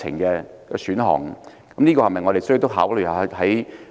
我們是否也需要考慮這一點？